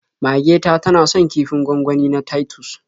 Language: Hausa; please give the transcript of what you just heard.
Mage ta tana son kifin gwangwani na Titus.